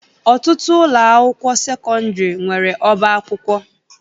Ọtụtụ ụlọakwụkwọ sekọndịrị nwere ọbaakwụkwọ